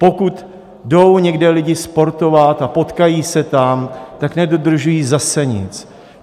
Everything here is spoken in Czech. Pokud jdou někde lidi sportovat a potkají se tam, tak nedodržují zase nic.